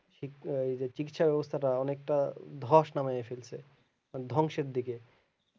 চিচিকিৎসা ব্যাবস্থাটা অনেকটা ধস নামায়া ফেলসে ধ্বংসের দিকে